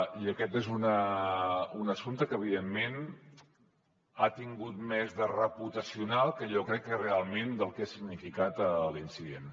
i aquest és un assumpte que evidentment ha tingut més de reputacional jo crec que realment del que ha significat l’incident